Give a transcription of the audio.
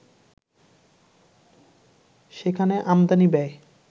সেখানে আমদানি ব্যয়